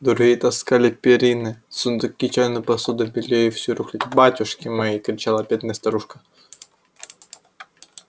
другие таскали перины сундуки чайную посуду белье и всю рухлядь батюшки мои кричала бедная старушка